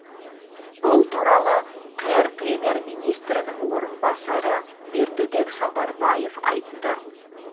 бұл туралы қр премьер министрінің орынбасары бердібек сапарбаев айтты